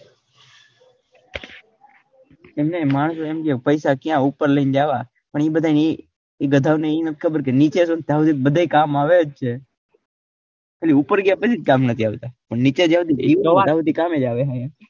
ઇમ નઈ એમ કે મારે પૈસા ક્યાં ઉપર લાઈન જવા પણ ઈ બધા ઈ બધા ને ખબર કે નીચે હોય ત્યાર સુધી બધા ને કામ આવે જ છે પણ ઉપર ગયા પછી જ કામ નઈ આવતા પણ નીચે જાઓ